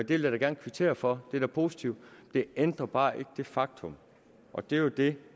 vil jeg da gerne kvittere for det er da positivt det ændrer bare ikke det faktum og det er jo det